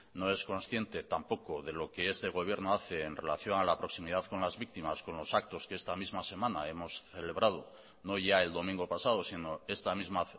no es consciente tampoco de lo que este gobierno hace en relación a la proximidad con las víctimas con los actos que esta misma semana hemos celebrado no ya el domingo pasado sino esta misma